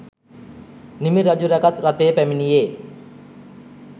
නිමි රජු රැගත් රථය පැමිණියේ